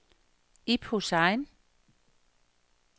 Ib Hussain